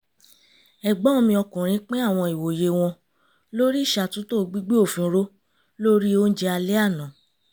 ẹ̀gbọ́n mi ọkùnrin pín àwọn ìwòye wọn lórí ìṣàtúntò gbígbé òfin ró lórì oúnjẹ alẹ́ àná